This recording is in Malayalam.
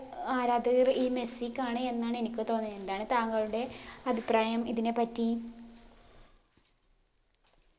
ആരാധകർ ഈ മെസ്സിക്കാണ് എന്നാണ് എനിക്ക് തോന്നിയെ എന്താണ് താങ്കളുടെ അഭിപ്രായം ഇതിനെപ്പറ്റി